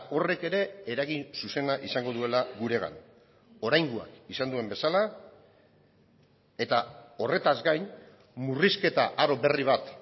horrek ere eragin zuzena izango duela guregan oraingoak izan duen bezala eta horretaz gain murrizketa aro berri bat